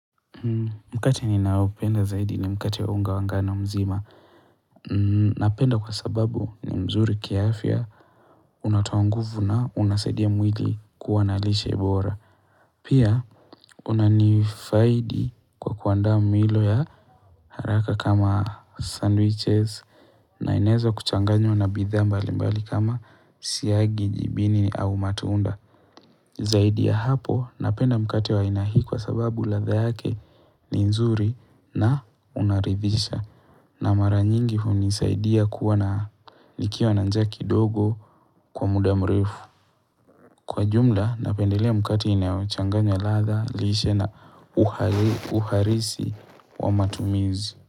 Mkate ninaopenda zaidi ni mkate wa unga wa ngano mzima. Napenda kwa sababu ni mzuri kiafya unatoa nguvu na unasaidia mwili kuwa na lishe bora. Pia unanifaidi kwa kuandaa milo ya haraka kama sandwiches na inaweza kuchanganywa na bidhaa mbali mbali kama siagi jibini au matunda. Zaidi ya hapo napenda mkate wa aina hii kwa sababu ladha yake ni nzuri na unaridhisha na mara nyingi hunisaidia kuwa na nikiwa na njaa kidogo kwa muda mrefu Kwa jumla napendelea mkate inayochanganya ladha lishe na uhalisi wa matumizi.